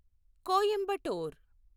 Coimbatore